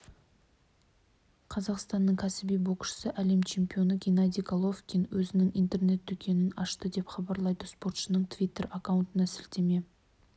қазақстаның кәсіби боксшысы әлем чемпионы геннадий головкин өзінің интернет-дүкенін ашты деп хабарлайды спортшының твиттер акаунтына сілтеме